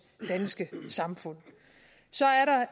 danske samfund så